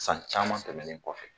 San caman tɛmɛnnen kɔfɛ